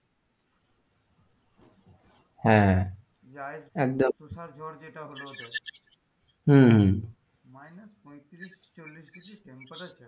হ্যাঁ একদম তুষার ঝড় যেটা হল ওদের হম হম minus পঁয়ত্রিশ, চল্লিশ degree temperature